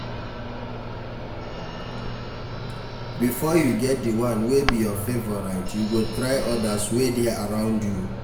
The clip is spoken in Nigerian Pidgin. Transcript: Before you get di one wey be your favourite you go try others wey de around you